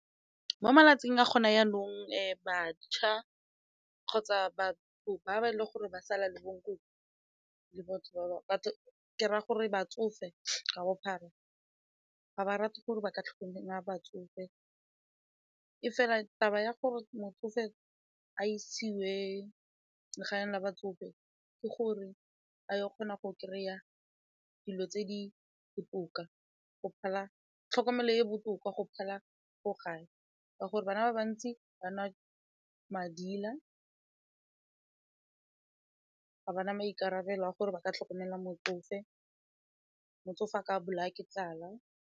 Mo malatsing a gona jaanong, bašwa kgotsa batho ba ba e le gore ba sala le bo nkoko le batho ba bagolo ke raya gore batsofe ka bophara ga ba rate gore ba ka tlhole nna batsofe e fela taba ya gore motsofe a isiwe kwa legaeng la batsofe ka gore a yo o kgona go kry-a dilo tse di botoka go phala tlhokomelo e e botoka go phala ko gae ka gore bana ba bantsi ba nwa madila, ga ba na maikarabelo a gore ba ka tlhokomela motsofe, motsofe a ka bolawa ke tlala.